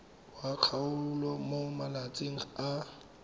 wa kgaolo mo malatsing a